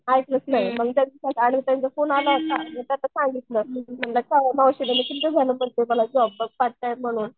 ऐकलंच नाही मग त्यांचा फोन आला होता सांगितलं मावशी तुम्ही किती दिवस झाले सांगते जॉब बघा पार्ट टाइम म्हणून